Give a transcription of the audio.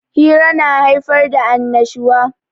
Hira na haifar da annashuwa.